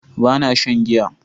Ba na shan giya